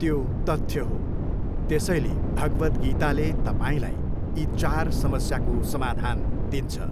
त्यो तथ्य हो, त्यसैले भगवद्गीताले तपाईँलाई यी चार समस्याको समाधान दिन्छ।